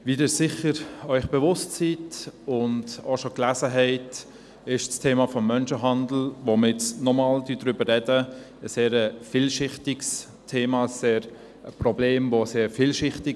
Wie Sie sich sicher bewusst sind und auch bereits lesen konnten, ist das Thema des Menschenhandels, über das wir erneut sprechen, sehr vielschichtig.